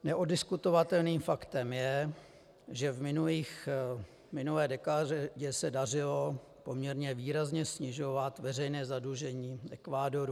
Neoddiskutovatelným faktem je, že v minulé dekádě se dařilo poměrně výrazně snižovat veřejné zadlužení Ekvádoru.